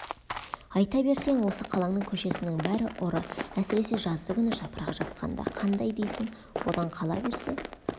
айта берсең осы қалаңның көшесінің бәрі ұры әсіресе жаздыгүні жапырақ жапқанда қандай дейсің одан қала берсе